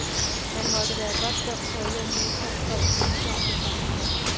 Man måtte være godt dum for ikke at imødekomme folks ønsker om det samme her.